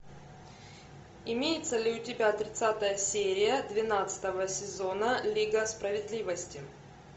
имеется ли у тебя тридцатая серия двенадцатого сезона лига справедливости